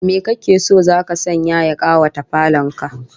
Me kake so zaka sanya ya kawata falon ka?